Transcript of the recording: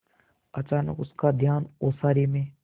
अचानक उसका ध्यान ओसारे में